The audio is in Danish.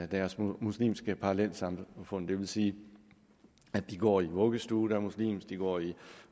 deres muslimske parallelsamfund det vil sige at de går i vuggestue der er muslimsk de går i